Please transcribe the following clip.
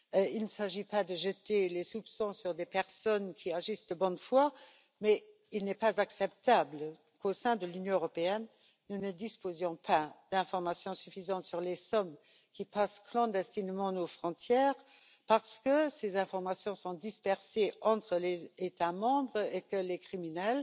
Il ne s'agit pas de jeter un quelconque soupçon sur des personnes qui agissent de bonne foi, mais il n'est pas acceptable qu'au sein de l'Union européenne, nous ne disposions pas d'informations suffisantes sur les sommes qui passent clandestinement nos frontières parce que ces informations sont dispersées entre les États membres et que les criminels